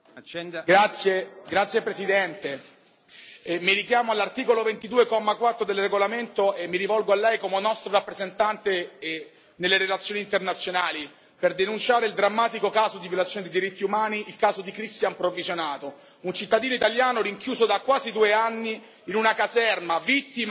Signor Presidente, onorevoli colleghi, mi richiamo all'articolo 22, comma 4, del regolamento e mi rivolgo a lei, come nostro rappresentante nelle relazioni internazionali, per denunciare un drammatico caso di violazione dei diritti umani, il caso di Christian Provvisionato, un cittadino italiano rinchiuso da quasi due anni in una caserma, vittima